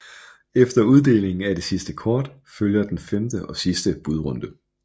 Efter uddelingen af det sidste kort følger den femte og sidste budrunde